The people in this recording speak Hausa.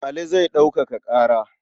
Ali zai ɗaukaka ƙara.